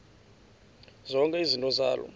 zonke izinto zaloo